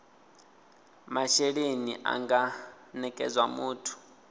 mashelelni a nga nekedzwa muthu